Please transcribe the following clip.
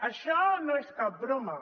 això no és cap broma